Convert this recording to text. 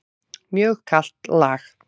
Mjög kalt lag.